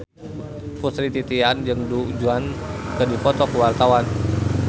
Putri Titian jeung Du Juan keur dipoto ku wartawan